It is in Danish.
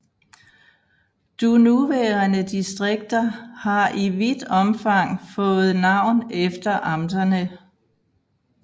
Du nuværende distrikter har i vidt omfang fået navn efter amterne